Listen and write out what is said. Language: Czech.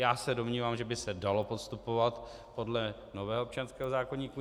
Já se domnívám, že by se dalo postupovat podle nového občanského zákoníku.